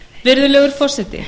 virðulegur forseti